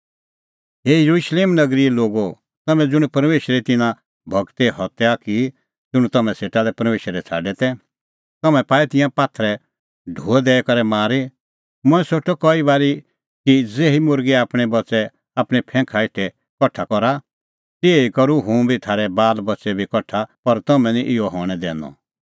हे येरुशलेम नगरीए लोगो तम्हैं ज़ुंण परमेशरे तिन्नां गूरे हत्या की ज़ुंण तम्हां सेटा लै परमेशरै छ़ाडै तै तम्हैं पाऐ तिंयां पात्थरे ढो दैई करै मारी मंऐं सोठअ कई बारी कि ज़ेही मुर्गी आपणैं बच्च़ै आपणैं फैंखा हेठै कठा करा तिहै ई करूं हुंबी थारै बालबच्च़ै बी कठा पर तम्हैं निं इहअ हणैं दैनअ